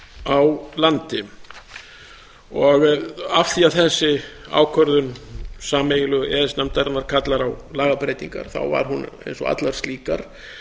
á landi af því að þessi ákvörðun sameiginlegu e e s nefndarinnar kallar á lagabreytingar var hún eins og allar slíkar